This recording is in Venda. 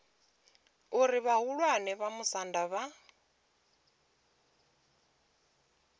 uri vhahulwane vha musanda vha